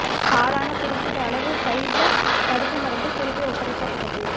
பாழான குறிப்பிட்ட அளவு ஃபைசர் தடுப்பு மருந்து திருப்பி ஒப்படைக்கப்பட்டது